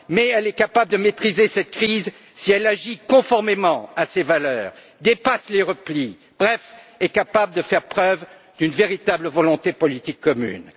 L'Europe est capable de maîtriser cette crise si elle agit conformément à ses valeurs, dépasse les replis, bref, si elle est capable de faire preuve d'une véritable volonté politique commune.